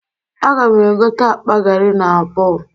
A ga m egote akpa gari n'abọọ